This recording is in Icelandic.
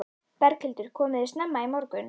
Berghildur: Komuð þið snemma í morgun?